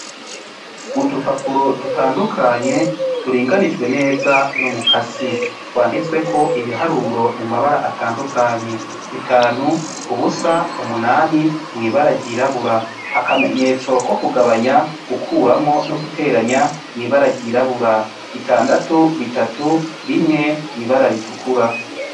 Udupapuro dutandukanye turinganije neza numukasi. Twandutseko ibiharuro mumabara atandukanye 5, 0, 8 lwubara ryirabura akamenyetso ko kugabunya gukuramwo no guteranya mwibara ryirabura 6, 3, 1 mwibara ritukura.